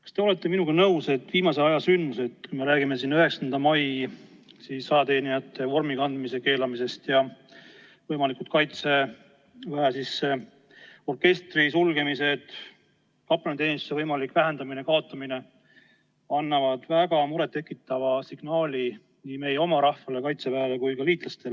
Kas te olete minuga nõus, et viimase aja sündmused, kui me räägime 9. mail ajateenijatel vormi kandmise keelamisest, võimalikust Kaitseväe orkestri sulgemisest, samuti kaplaniteenistuse vähendamisest või kaotamisest, annavad väga muret tekitava signaali nii meie oma rahvale, Kaitseväele kui ka liitlastele?